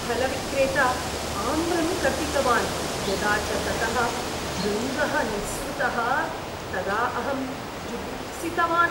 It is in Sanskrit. फलविक्रेता आम्रं कर्तितवान्, यदा च ततः भृङ्गः निःसृतः तदा अहं जुगुप्सितवान्।